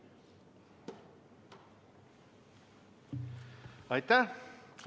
Aitäh!